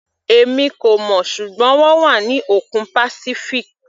Èmi kò mọ̀, ṣùgbọ́n wọ́n wà ní òkun Pacific.